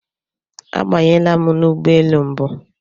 Abanyela m n'ụgbọelu mbu.